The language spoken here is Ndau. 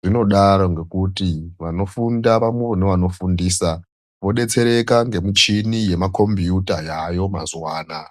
Zvinodaro ngokuti vanofunda nevanofundisa vodetsereka ngemichini yemakombiyuta yaveyo mazuva anaa.